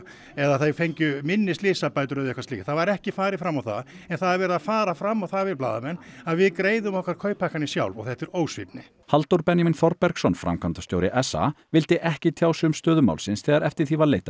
eða að þau fengju minni slysabætur eða eitthvað slíkt það var ekki farið fram á það en það er verið að fara fram á það við blaðamenn að við greiðum okkar kauphækkanir sjálf og þetta er ósvífni Halldór Benjamín Þorbergsson framkvæmdastjóri s a vildi ekki tjá sig um stöðu málsins þegar eftir því var leitað